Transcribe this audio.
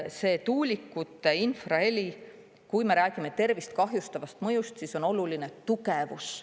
See tuulikute infraheli, kui me räägime tervist kahjustavast mõjust, siis on oluline tugevus.